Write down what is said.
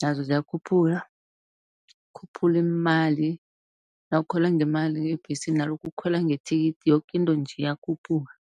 Nazo ziyakhuphuka khuphula iimali, nawukhwela ngemali ebhesini nalokha ukhwela ngethikithi yoke into nje iyakhuphuka.